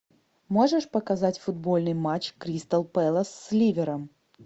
можешь показать футбольный матч кристал пэлас с ливером